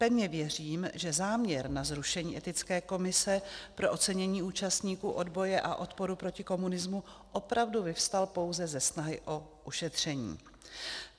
Pevně věřím, že záměr na zrušení Etické komise pro ocenění účastníků odboje a odporu proti komunismu opravdu vyvstal pouze ze snahy o šetření.